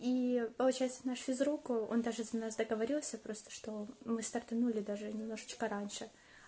и получается наш физрук он даже за нас договорился просто что мы стартанули даже немножечко раньше